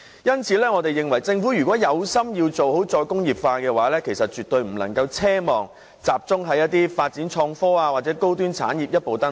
因此，我們認為如果政府是有心做好"再工業化"的話，便絕對不能奢望集中發展創科或高端產業可以一步登天。